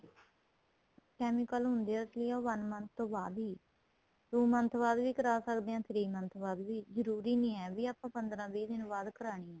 chemical ਹੁੰਦੇ ਏ ਇਸ ਲਈ ਉਹ one month ਤੋ ਬਾਅਦ ਹੀ two month ਬਾਅਦ ਵੀ ਕਰਾ ਸਕਦੇ ਹਾਂ three month ਬਾਅਦ ਵੀ ਜਰੂਰੀ ਨਹੀਂ ਏ ਵੀ ਪੰਦਰਾਂ ਵੀਹ ਦਿਨਾ ਬਾਅਦ ਕਰਾਣੀ ਏ